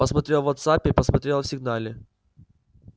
посмотрел в вотсаппе посмотрел в сигнале